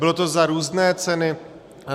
Bylo to za různé ceny.